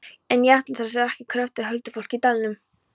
En ætli það sé ekki krökkt af huldufólki í dalnum?